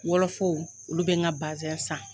Wɔlɔfɔw olu bɛ n ka basin san?